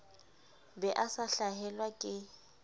be a sa hlahelwa ke